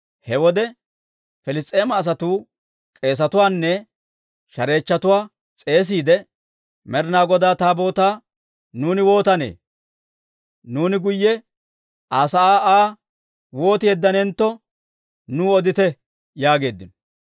He wode Piliss's'eema asatuu k'eesetuwaanne shareechchatuwaa s'eesiide, «Med'inaa Godaa Taabootaa nuuni waatanee? Nuuni guyye Aa sa'aa Aa wooti yeddanentto, nuw odite» yaageeddino.